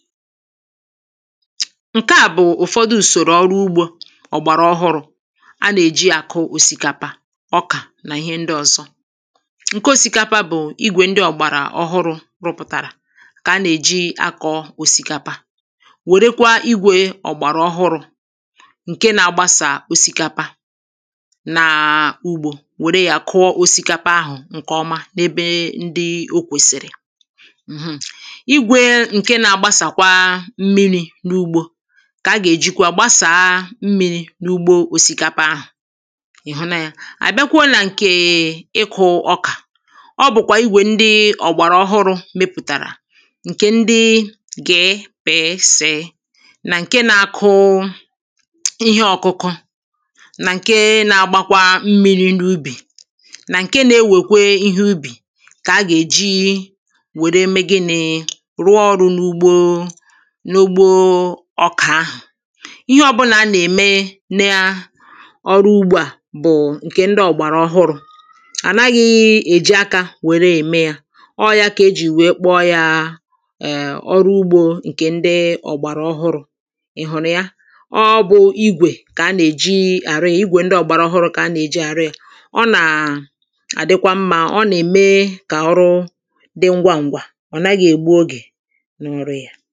Nkea bụ̀ ụ̀fọdụ ụsọ̀rọ̀ ọrụ ụgbȯ ọ̀gbara ọhụrụ̇ a na-eji ya a kụọ ọ̀sìkapá, ọka na ihe ndị ọ̀zọ. Nke ọ̀sìkapa bụ̀ igwe ndị ọ̀gbara ọhụrụ̇ rụpụ̀tara ka a na-eji akọ̀ọ ọ̀sìkapa, werekwa igwė ọ̀gbara ọhụrụ̇ nke na-agbasa ọ̀sìkapa naa ụgbȯ, were ya kụọ ọ̀sìkapa ahụ̀ nke ọma n’ebee ndịi ọ kwesìrì um Igwe nke na agbasakwa mmiri na ụgbọ ka a ga-ejikwa gbasaa mmiri̇ n’ụgbọ ọ̀sìkapa ahụ̀. ị̀ hụ na ya. Abịakwụọ na nkee ịkụ̇ ọka, ọ bụ̀kwa igwe ndị ọ̀gbara ọhụrụ̇ mepụ̀tara nke ndị gị̇ pị̀ sị̀ na nke na-akụ̇ ihe ọ̇kụ̇kụ̇ na nke na-agbakwa mmiri̇ n’ụbì na nke na-ewekwe ihe ụbì ka a ga-eji were mee gịnị̇? Rụọ ọrụ n’ụgbọ n’ụgbọ ọka ahụ̀. Ihe ọbụla a na-eme n’ịa ọrụ ụgbȯ a bụ̀ nke ndị ọ̀gbara ọhụrụ̇. Anaghị̇ eji aka were eme ya, ọọ̇ ya ka ejì wee kpọ ya um ọrụ ụgbȯ nke ndị ọ̀gbara ọhụrụ̇. ị hụ̀rụ̀ ya. Ọ bụ̇ igwe ka a na-eji arị ya, igwe ndị ọ̀gbara ọhụrụ̇ ka a na-eji arị ya. Ọ na adịkwa mma, ọ na-eme ka ọrụ dị ngwa ngwa. Ọ̀ naghị̇ egbụ ọge n’ọrụ ya.